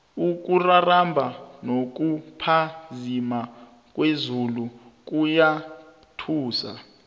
ukuraramba nokuphazima kwezulu kuyathusa